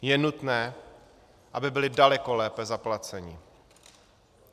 Je nutné, aby byli daleko lépe zaplaceni.